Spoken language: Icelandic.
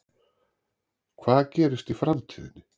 Hvað gerist í framtíðinni?